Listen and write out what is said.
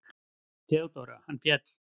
THEODÓRA: Hann féll!